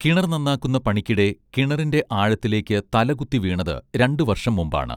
കിണർ നന്നാക്കുന്ന പണിക്കിടെ കിണറിന്റെ ആഴത്തിലേക്ക്‌ തലകുത്തി വീണത് രണ്ടു വർഷം മുൻപാണ്